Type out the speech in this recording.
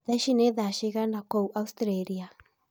thaa ĩcĩ ni thaa cĩĩgana kũũ australia